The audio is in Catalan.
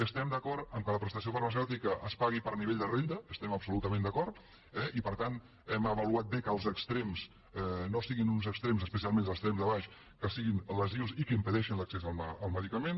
estem d’acord que la prestació farmacèutica es pagui per nivell de renda hi estem absolutament d’acord eh i per tant hem avaluat bé que els extrems no siguin uns extrems especialment els extrems de baix que siguin lesius i que impedeixin l’accés al medicament